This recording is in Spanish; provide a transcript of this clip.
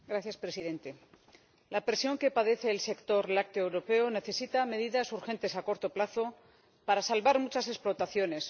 Señor Presidente, la presión que padece el sector lácteo europeo necesita medidas urgentes a corto plazo para salvar muchas explotaciones.